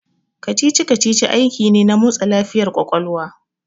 Kacici kacici aiki ne na motsa lafiyar ƙwaƙwalwa